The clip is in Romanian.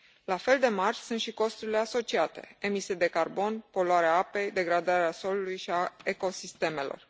La fel de mari sunt și costurile asociate emisii de carbon, poluarea apei, degradarea solului și a ecosistemelor.